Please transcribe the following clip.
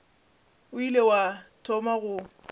o ile wa thoma go